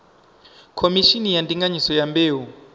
khomishini ya ndinganyiso ya mbeu